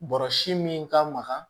Bɔrɔsi min ka maga